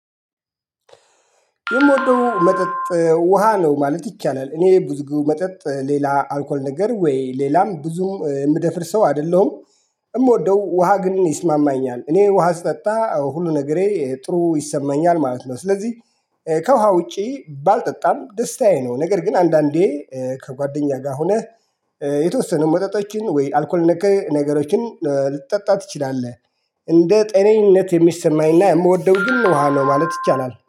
የምወደው መጠጥ ውሃ ነው ማለት ይቻላል እኔ ብዙ ጊዜ መጠጥ ሌላ አልኮል ነገር ወይ ሌላም ብዙም የምደፍር ሰው አይደለሁም። የምወደው ውሃ ግን ይስማማኛል እኔ ውሃ ስጠጣ ሁሉ ነገሬ ጥሩ ይሰማኛል ማለት ነው። ስለዚህ ከውሃ ውጪ ባልጠጣም ደስታዬ ነው። ነገር ግን አንዳንዴ ከጓደኛ ጋር ሆነህ የተወሰነ መጠጣቶችን ወይ አልኮል ነክ ነገሮችን ልትጠጣ ትችላለህ። እንደ ጤነኝነት የሚሰማኝና የምወደው ግን ውሃ ነው ማለት ይቻላል